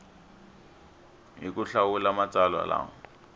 hi ku hlawula matsalwa lama